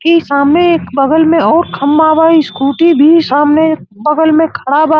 इ सामे एक बगल में अउर खम्मा बा। स्कूटी भी सामने बगल में खड़ा बा।